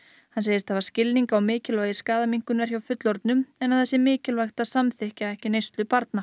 hann segist hafa skilning á mikilvægi skaðaminnkunar hjá fullorðnum en að það sé mikilvægt að samþykkja ekki neyslu barna